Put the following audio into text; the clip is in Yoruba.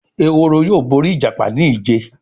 Ehoro yóò bóri ìjàpá ní ije.